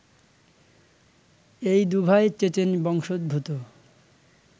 এই দুভাই চেচেন বংশোদ্ভূত